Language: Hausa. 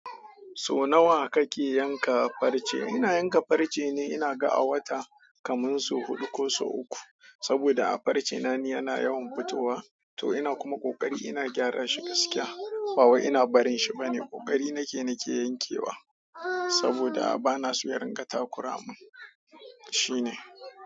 So nawa kake yanka farce? Ina yanka farce ne ina ga a wata kamun so huɗu ko sau uku. Saboda a farce na ni yana yawan fitowa to ina kuma ƙoƙari ina gyara shi gaskiya. Ba wai ina barin shi bane. Ƙoƙari nake ni ke yankewa saboda bana so ya ringa takura mun. Shi ne.